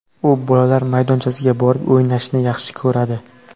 U bolalar maydonchasiga borib, o‘ynashni yaxshi ko‘radi.